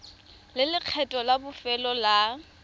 le lekgetho la bofelo la